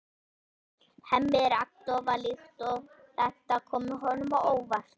Hemmi er agndofa líkt og þetta komi honum á óvart.